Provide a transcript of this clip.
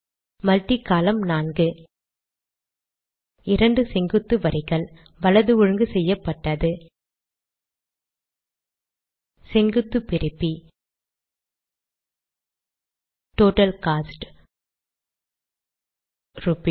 multi column நான்கு 2 செங்குத்து வரிகள் வலது ஒழுங்கு செய்யப்பட்டது செங்குத்து பிரிப்பி டோட்டல் கோஸ்ட் ரூப்பீஸ்